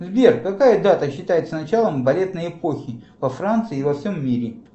сбер какая дата считается началом балетной эпохи во франции и во всем мире